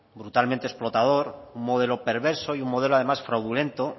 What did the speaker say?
brutalmente explotador un modelo perverso y un modelo además fraudulento